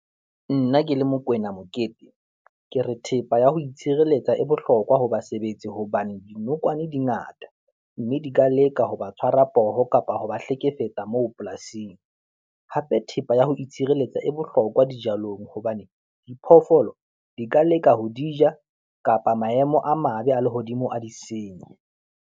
Nna ke le Mokoena Mokete, ke re thepa ya ho itshirelletsa e bohlokwa ho basebetsi hobane dinokwane di ngata mme di ka leka ho ba tshwarwa poho kapa ho ba hlekefetsa moo polasing. Hape thepa ya ho itshirelletsa e bohlokwa dijalong hobane diphoofolo di ka leka ho di ja kapa maemo a mabe a lehodimo a di senye.